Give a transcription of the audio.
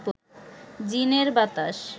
জিনের বাতাস